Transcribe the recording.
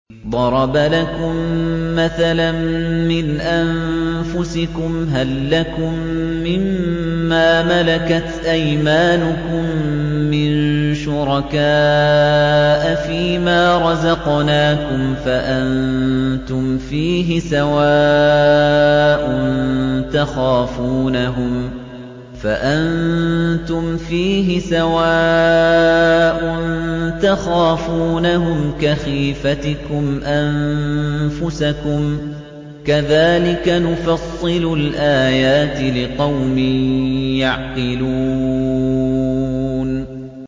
ضَرَبَ لَكُم مَّثَلًا مِّنْ أَنفُسِكُمْ ۖ هَل لَّكُم مِّن مَّا مَلَكَتْ أَيْمَانُكُم مِّن شُرَكَاءَ فِي مَا رَزَقْنَاكُمْ فَأَنتُمْ فِيهِ سَوَاءٌ تَخَافُونَهُمْ كَخِيفَتِكُمْ أَنفُسَكُمْ ۚ كَذَٰلِكَ نُفَصِّلُ الْآيَاتِ لِقَوْمٍ يَعْقِلُونَ